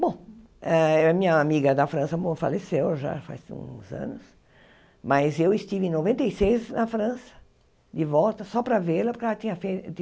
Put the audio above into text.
Bom, eh a minha amiga da França mo faleceu já faz uns anos, mas eu estive em noventa e seis na França, de volta, só para vê-la, porque ela tinha fei tido